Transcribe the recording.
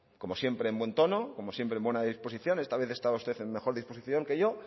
como siempre en buen tono como siempre en buena disposición esta vez ha estado usted en mejor disposición que yo